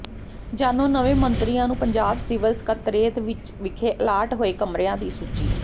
ਜਾਣੋ ਨਵੇਂ ਮੰਤਰੀਆਂ ਨੂੰ ਪੰਜਾਬ ਸਿਵਲ ਸਕੱਤਰੇਤ ਵਿਖੇ ਅਲਾਟ ਹੋਏ ਕਮਰਿਆਂ ਦੀ ਸੂਚੀ